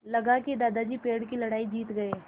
लगा कि दादाजी पेड़ की लड़ाई जीत गए